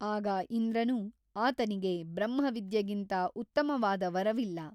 ಆಗ ಇಂದ್ರನು ಆತನಿಗೆ ಬ್ರಹ್ಮವಿದ್ಯೆಗಿಂತ ಉತ್ತಮವಾದ ವರವಿಲ್ಲ.